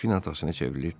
Delfin atasına çevrilib dedi.